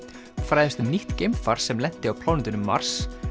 fræðumst um nýtt geimfar sem lenti á plánetunni Mars